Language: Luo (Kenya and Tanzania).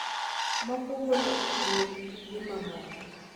Moko golo othinyo gi pige mamoko